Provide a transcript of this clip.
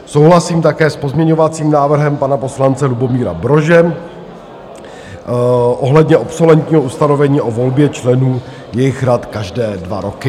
Souhlasím také s pozměňovacím návrhem pana poslance Lubomíra Brože ohledně obsolentního ustanovení o volbě členů jejich rad každé dva roky.